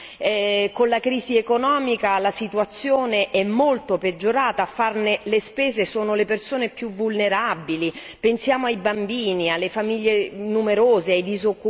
Con la crisi economica la situazione è molto peggiorata, a farne le spese sono le persone più vulnerabili, pensiamo ai bambini, alle famiglie numerose, ai disoccupati